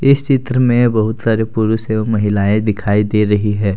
इस चित्र में बहुत सारे पुरुष एवं महिलाएं दिखाई दे रही है।